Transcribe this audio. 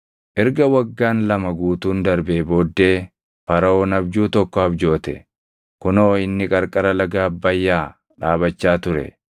Erga waggaan lama guutuun darbee booddee Faraʼoon abjuu tokko abjoote. Kunoo inni qarqara laga Abbayyaa dhaabachaa ture.